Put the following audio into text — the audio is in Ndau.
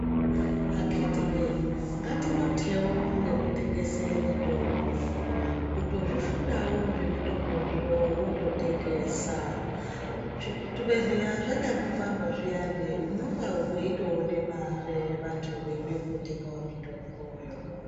Akiti woye ngatinotewo nekufundira mitombo kutozvifundirawo zvemitomboyo wototengesa zvibhedhlera zvanyambovharwa zviyani Unenge wiona mare vantu veitorapwa vakadaro.